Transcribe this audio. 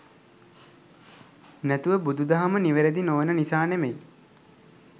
නැතුව බුදු දහම නිවැරදි නොවන නිසා නෙමෙයි.